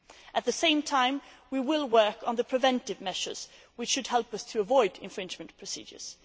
At the same time, we will work on the preventive measures which should help us to avoid infringement procedures.